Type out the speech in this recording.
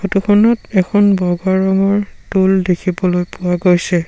দোকানত এখন বগা ৰঙৰ টুল দেখিবলৈ পোৱা গৈছে।